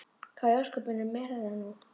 Hvað í ósköpunum er nú þetta?